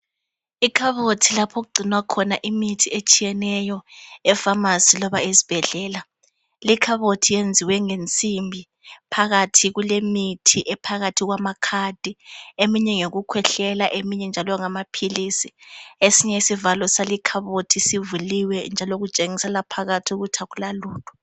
Ikhabothi lapho okugcinwa khona imithi etshiyeneyo efamasi loba esibhedlela. Lekhabothi yenziwa ngensimbi. Phakathi kulemithi ephakathi kwamakhadi leminye ngeyokukhwehlela leminye njalo ngamaphilisi. Esinye isivalo sale ikhabothi sivuliwe njalo kutshengisela phakathi ukuthi akulalutho.